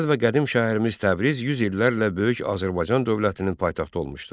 Gözəl və qədim şəhərimiz Təbriz yüz illərlə böyük Azərbaycan dövlətinin paytaxtı olmuşdu.